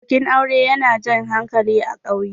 bikin aure yana Jan hankali a ƙauye